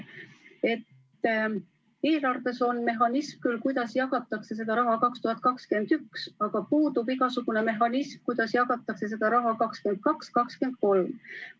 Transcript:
Eelarves on küll mehhanism, kuidas jagatakse seda raha 2021. aastal, aga puudub igasugune mehhanism, kuidas jagatakse seda raha 2022. ja 2023. aastal.